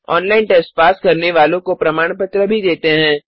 online test pass करने वालों को प्रमाण पत्र भी देते हैं